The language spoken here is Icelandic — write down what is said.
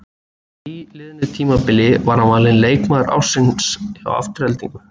Á nýliðnu tímabili var hann valinn leikmaður ársins hjá Aftureldingu.